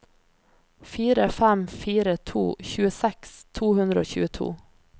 fire fem fire to tjueseks to hundre og tjueto